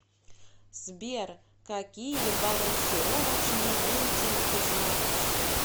сбер какие балансировочный вентиль ты знаешь